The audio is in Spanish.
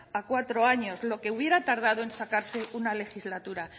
a cuatro años lo que hubiera tardado en sacarse una legislatura